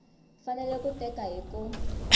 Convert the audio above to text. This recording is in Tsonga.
fanele ku teka hi ku